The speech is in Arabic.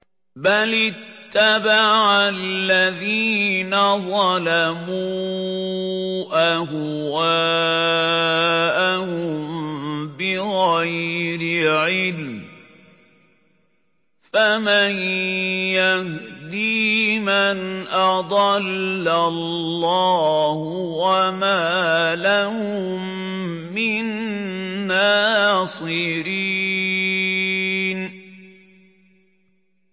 بَلِ اتَّبَعَ الَّذِينَ ظَلَمُوا أَهْوَاءَهُم بِغَيْرِ عِلْمٍ ۖ فَمَن يَهْدِي مَنْ أَضَلَّ اللَّهُ ۖ وَمَا لَهُم مِّن نَّاصِرِينَ